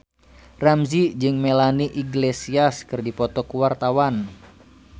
Ramzy jeung Melanie Iglesias keur dipoto ku wartawan